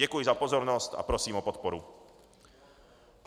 Děkuji za pozornost a prosím o podporu.